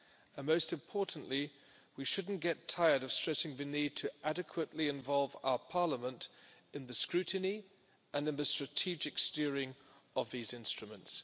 and, most importantly, we shouldn't get tired of stressing the need to adequately involve our Parliament in the scrutiny and in the strategic steering of these instruments.